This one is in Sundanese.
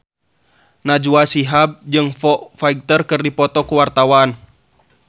Najwa Shihab jeung Foo Fighter keur dipoto ku wartawan